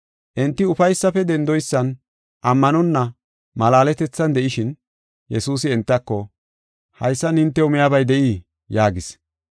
Enti ufaysafe dendoysan ammanonna malaaletethan de7ishin, Yesuusi entako, “Haysan hintew miyabay de7ii?” yaagis.